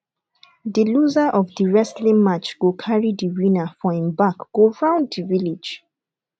the loser of the wrestling match go carry the winner for im back go round the village